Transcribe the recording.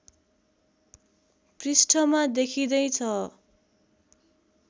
पृष्ठमा देखिँदै छ